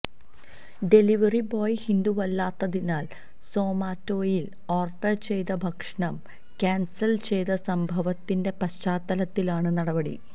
delivery boy ഹിന്ദുവല്ലാത്തതിനാല് സൊമാറ്റോയില് order ചെയ്ത ഭക്ഷണം കാന്സല് ചെയ്ത സംഭവത്തിന്റെ പശ്ചാത്തലത്തിലാണ് നടപടി